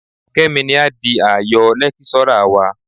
Kẹ́mi ni á di ààyọ̀ lẹ́kíṣọ́rà wa